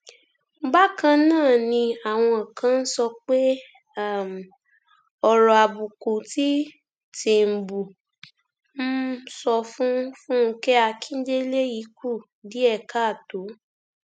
bákan náà ni àwọn kan ń sọ pé um ọrọ àbùkù tí tìǹbù um sọ sí fúnkẹ akíndélé yìí kù díẹ káàtó